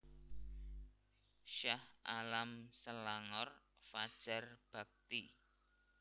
Shah Alam Selangor Fajar Bakti